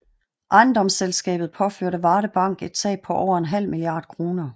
Ejendomsselskabet påførte Varde Bank et tab på over en halv milliard kroner